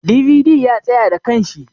"DVD" ya tsaya da kanshi.